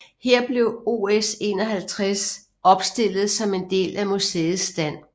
Her blev OS 51 opstillet som en del af museets stand